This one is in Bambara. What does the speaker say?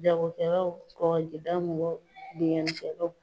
Jagokɛlaw kɔrɔ, sigida mɔgɔ bingani kelaw.